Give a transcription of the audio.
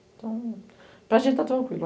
Então, para gente está tranquilo.